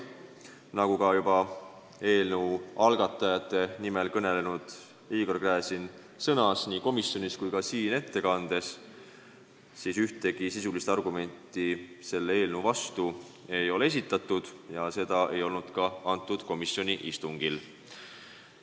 Nagu eelnõu algatajate nimel kõnelenud Igor Gräzin sõnas nii komisjonis kui ka siin ettekannet tehes, ühtegi sisulist argumenti selle eelnõu vastu ei ole esitatud ja neid ei olnud ka komisjoni istungil.